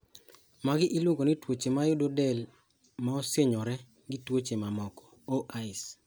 Magi iluongo ni twoche mayudo del maosinyore gi twoche mamoko (OIs)